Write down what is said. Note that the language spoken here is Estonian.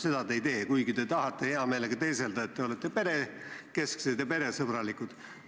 Seda te ei tee, kuigi te tahate heameelega teeselda, et te olete perekesksed ja peresõbralikud.